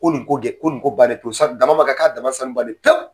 Ko nin ko dɛ, ko nin ko bannen pewu sabu